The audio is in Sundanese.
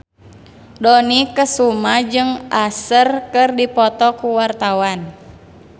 Dony Kesuma jeung Usher keur dipoto ku wartawan